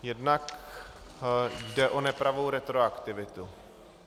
Jednak jde o nepravou retroaktivitu.